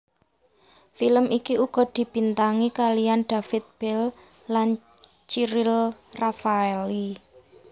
Film iki uga dibintangi kaliyan David Belle lan Cyril Raffaelli